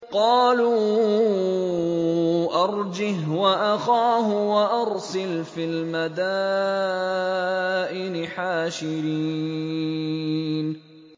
قَالُوا أَرْجِهْ وَأَخَاهُ وَأَرْسِلْ فِي الْمَدَائِنِ حَاشِرِينَ